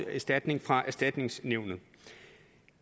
erstatning fra erstatningsnævnet